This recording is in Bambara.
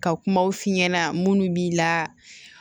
Ka kumaw f'i ɲɛna minnu b'i la